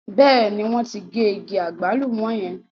Bẹ́ẹ̀ ní, wọ́n ti gé igi àgbálùmọ̀ yẹn.